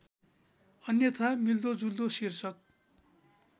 अन्यथा मिल्दोजुल्दो शीर्षक